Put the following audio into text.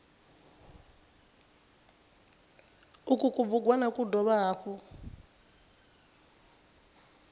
uku kubugwana ku dovha hafhu